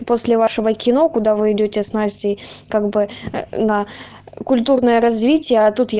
после вашего кино куда вы идёте с настей как бы на культурное развитие а тут я